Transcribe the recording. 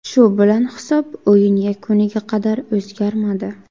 Shu bilan hisob o‘yin yakuniga qadar o‘zgarmadi.